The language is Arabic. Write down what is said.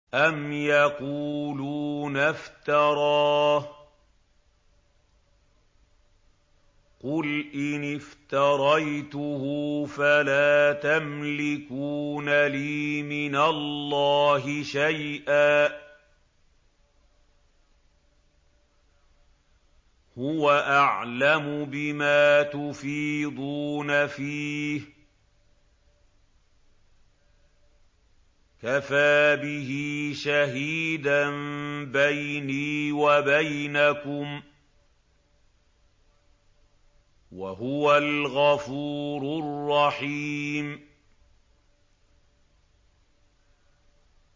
أَمْ يَقُولُونَ افْتَرَاهُ ۖ قُلْ إِنِ افْتَرَيْتُهُ فَلَا تَمْلِكُونَ لِي مِنَ اللَّهِ شَيْئًا ۖ هُوَ أَعْلَمُ بِمَا تُفِيضُونَ فِيهِ ۖ كَفَىٰ بِهِ شَهِيدًا بَيْنِي وَبَيْنَكُمْ ۖ وَهُوَ الْغَفُورُ الرَّحِيمُ